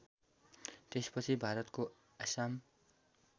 त्यसपछि भारतको आसाम